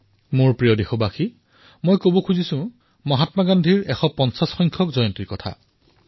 মোৰ মৰমৰ দেশবাসীসকল মই মহাত্মা গান্ধীৰ ১৫০তম জন্ম জয়ন্তীৰ কথা কৈছো